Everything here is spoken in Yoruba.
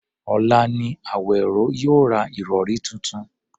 Ọ̀la ni Àwèró yóò ra ìrọ̀rí tuntun